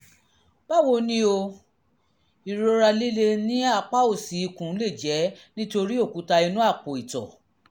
báwo ni o? ìrora líle ní apá òsì ikùn lè jẹ́ nítorí òkúta inú àpò-ìtọ̀